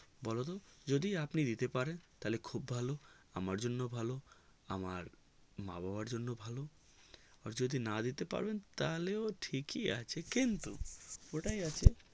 বোলো তো যদি আপনে দিতে পারেন তালে খুব ভালো আমার জন্য ভালো আমার মা বাবার জন্য ভালো আর যদি না দিতে পারেন তালে ঠিকই আছে কিন্তু ওটা আছে